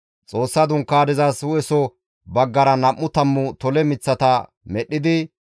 Xoossa Dunkaanezas hu7eso baggara nam7u tammu tole miththata medhdhidi,